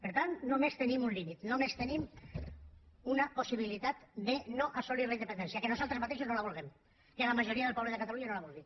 per tant només tenim un límit només tenim una possibilitat de no assolir la independència que nosaltres mateixos no la vulguem que la majoria del poble de catalunya no la vulgui